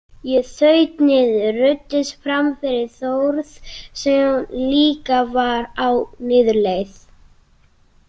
Ég þaut niður, ruddist fram fyrir Þórð sem líka var á niðurleið.